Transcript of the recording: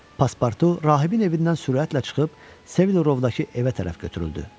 Paspartu rahibin evindən sürətlə çıxıb Sevilovdakı evə tərəf götürüldü.